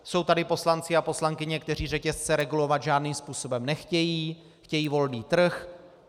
Jsou tady poslanci a poslankyně, kteří řetězce regulovat žádným způsobem nechtějí, chtějí volný trh.